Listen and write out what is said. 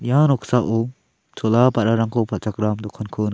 ia noksao chola ba·rarangko palchakram dokanko nika--